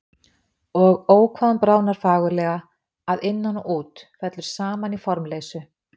Og Ó hvað hún bráðnar fagurlega, að innan og út, fellur saman í formleysu.